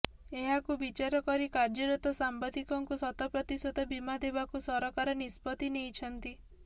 ଏହାକୁ ବିଚାରକରି କାର୍ଯ୍ୟରତ ସାମ୍ବାଦିକଙ୍କୁ ଶତ ପ୍ରତିଶତ ବୀମା ଦେବାକୁ ସରକାର ନିଷ୍ପତ୍ତି ନେଇଛନ୍ତି